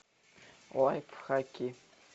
лайфхаки